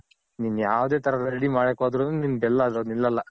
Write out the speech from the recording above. ನೀನ್ ಯಾವದೇ ತರ ready ಮಾಡಕ್ ಹೊದ್ರುನು ನೀನ್ ಬೆಲ್ಲ ಅದ್ರಲ್ ನಿಲ್ಲಲ್ಲ